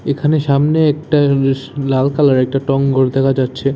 এখানে সামনে একটা বেশ লাল কালারের একটা টং ঘর দেখা যাচ্ছে।